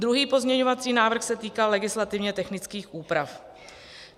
Druhý pozměňovací návrh se týkal legislativně technických úprav.